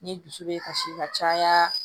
Ni dusu bɛ kasi ka caya